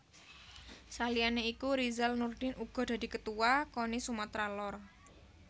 Saliyane iku Rizal Nurdin uga dadi Ketuwa Koni Sumatra Lor